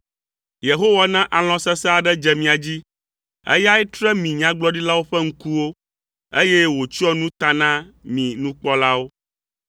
Yehowa na alɔ̃ sesẽ aɖe dze mia dzi. Eyae tre mi nyagblɔɖilawo ƒe ŋkuwo, eye wòtsyɔ nu ta na mi nukpɔlawo.